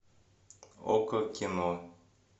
окко кино